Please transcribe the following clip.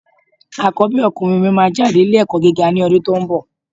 Àkọ́bí ọkùnrin mi máa jáde ilé ẹ̀kọ́ gíga ní ọdún tó ń bọ̀.